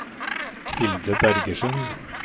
Hilde Bergersen